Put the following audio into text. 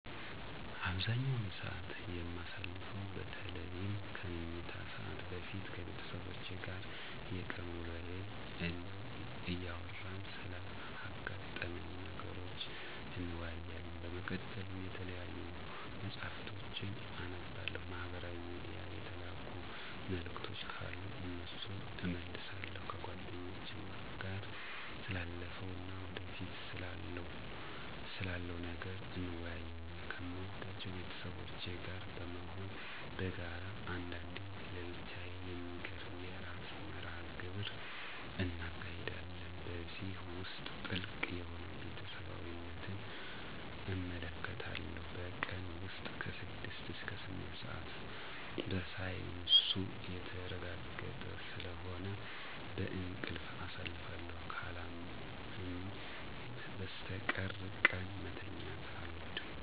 አብዛኛውን ሰዓት የማሳልፈው በተለይም ከመኝታ ሰዓት በፊት ከቤተሰቦቼ ጋር የቀን ውሎየን እያወራን ስላጋጠሙኝ ነገሮች እንወያያለን። በመቀጠልም የተለያዩ መፅሀፍቶችን አነባለሁ፤ ማህበራዊ ሚድያ የተላኩ መልዕክቶች ካሉ እነሱን እመልሳለሁ። ከጓደኞቼም ጋር ስላለፈው እና ወደፊት ስላለው ነገር እንወያያለን። ከምወዳቸው ቤተሰቦቼ ጋር በመሆን በጋራ አንዳንዴም ለየብቻ የሚገርም የዕራት መርሀ ግብር እናካሂዳለን። በዚህ ውስጥ ጥልቅ የሆነ ቤተሰባዊነትን እመለከትበታለሁ። በቀን ውስጥ ከ6 እስከ 8 ሰዓት በሳይንሱ የተረጋገጠ ስለሆነ በእንቅልፍ አሳልፋለሁ። ካላመመኝ በስተቀር ቀን መተኛት አልወድም።